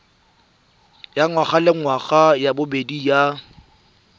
ya ngwagalengwaga ya bobedi ya